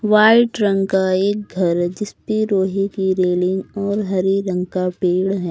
White रंग का एक घर है जिसपे लोहे की रेलिंग और हरे रंग का पेड़ है।